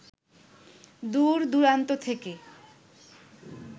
দূর-দূরান্ত থেকে